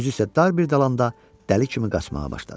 Özü isə dar bir dalanda dəli kimi qaçmağa başladı.